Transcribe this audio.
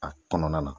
A kɔnɔna na